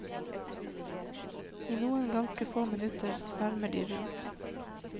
I noen ganske få minutter svermer de rundt.